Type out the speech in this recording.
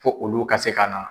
Fo olu ka se ka na